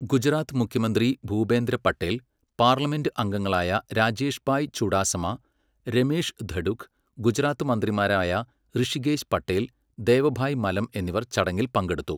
ഗുജറാത്ത് മുഖ്യമന്ത്രി ഭൂപേന്ദ്ര പട്ടേൽ, പാർലമെന്റ് അംഗങ്ങളായ രാജേഷ്ഭായ് ചുഡാസമ, രമേഷ് ധഡുക്, ഗുജറാത്ത് മന്ത്രിമാരായ ഋഷികേശ് പട്ടേൽ, ദേവഭായ് മലം എന്നിവർ ചടങ്ങിൽ പങ്കെടുത്തു.